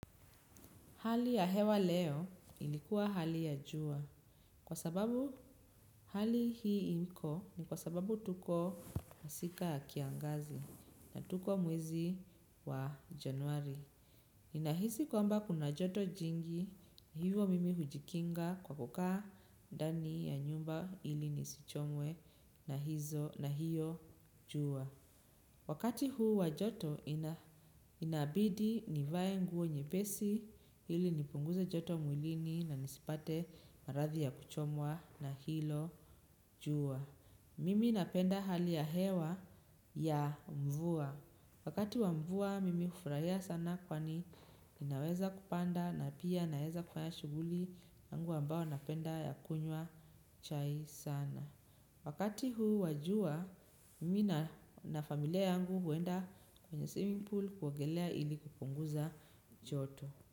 Hali ya hewa leo ilikuwa hali ya jua kwa sababu hali hii imiko ni kwa sababu tuko masika ya kiangazi na tuko mwezi wa januari. Nahisi kwamba kuna joto jingi hivo mimi hujikinga kwa kukaa ndani ya nyumba ili nisichomwe na hizo na hiyo jua. Wakati huu wa joto inabidi nivae nguo nyepesi ili nipunguze joto mwilini na nisipate maradhi ya kuchomwa na hilo jua. Mimi napenda hali ya hewa ya mvua. Wakati wa mvua mimi hufraia sana kwani ninaweza kupanda na pia naeza kufanya shughuli yangu ambao napenda ya kunywa chai sana. Wakati huu wa jua, mimi na na familia yangu huenda kwenye swimming pool kuogelea ili kupunguza choto.